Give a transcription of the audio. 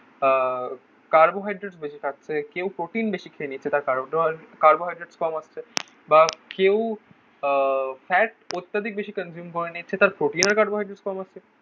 আহ carbohydrate বেশি থাকছে. কেউ প্রোটিন বেশি খেয়ে নিচ্ছে. তার কার্বোকার্বোহাইড্রেটস কম আসছে. বা কেউ আহ ফ্যাট অত্যাধিক বেশি কনজিউম করে নিচ্ছে. তাঁর প্রোটিনের কম আছে.